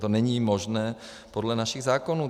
To není možné podle našich zákonů.